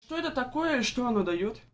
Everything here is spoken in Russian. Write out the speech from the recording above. что это такое и что оно даёт